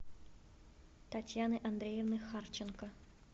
татьяны андреевны харченко